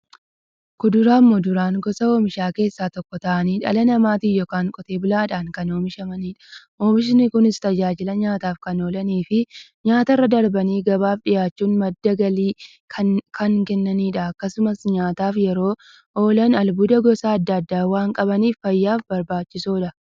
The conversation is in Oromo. Kuduraafi muduraan gosa oomishaa keessaa tokko ta'anii, dhala namaatin yookiin Qotee bulaadhan kan oomishamaniidha. Oomishni Kunis, tajaajila nyaataf kan oolaniifi nyaatarra darbanii gabaaf dhiyaachuun madda galii kan kennaniidha. Akkasumas nyaataf yeroo oolan, albuuda gosa adda addaa waan qabaniif, fayyaaf barbaachisoodha.